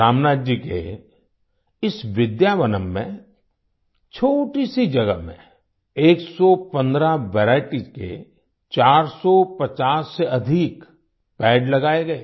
रामनाथ जी के इस विद्यावनम् में छोटी सी जगह में 115 वेराइटीज के 450 से अधिक पेड़ लगाए गए